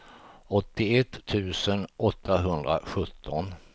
åttioett tusen åttahundrasjutton